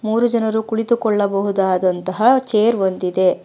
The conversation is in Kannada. ಮೂರು ಜನರು ಕುಳಿತುಕೊಳ್ಳಬಹುದಾದಂತಹ ಚೇರ್ ಒಂದಿದೆ.